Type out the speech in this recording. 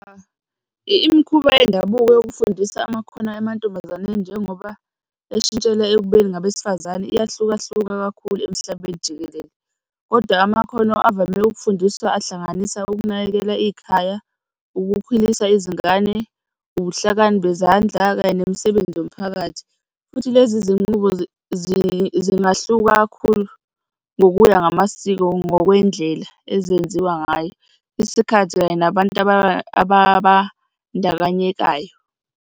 Imikhuba yendabuko yokufundisa amakhono emantombazaneni njengoba eshintshela ekubeni abesifazane, iyahlukahluka kakhulu emhlabeni jikelele. Kodwa amakhono avame ukufundiswa ahlanganisa, ukunakekela ikhaya, ukukhulisa izingane, ubuhlakani bezandla kanye nemisebenzi yomphakathi, futhi lezi zinqubo zingahluka kakhulu ngokuya ngamasiko ngokwendlela ezenziwa ngayo, isikhathi kanye nabantu ababandakanyekayo.